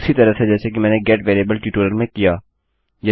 उसी तरह से जैसे कि मैंने गेट वेरिएबल ट्यूटोरियल में किया